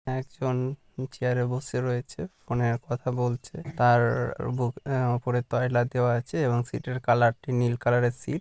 একজন চেয়ার -এ বসে রয়েছে ফোন -এ কথা বলছে তার উপরে আহ তয়লা দেওয়া আছে এবং সিট - এর কালার -টি নীল কালার -এর সিট ।